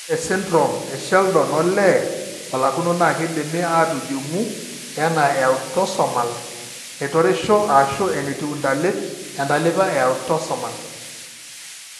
Ore esindirom esheldon olee olakuno keidimi aatujung'u anaa eautosomal naitoreisho ashu enetiu intalip entalipa eautosomal.